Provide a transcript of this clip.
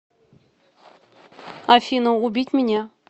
афина убить меня